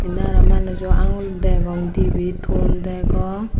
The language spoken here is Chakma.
inni aro manujo aangul degong dibey ton degong.